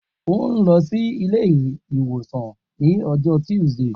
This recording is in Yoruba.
O n lọ si ile-iwosan ni ọjọ Tuesday